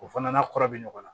O fana n'a kɔrɔ bɛ ɲɔgɔn na